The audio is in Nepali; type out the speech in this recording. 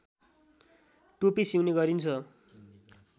टोपी सिउने गरिन्छ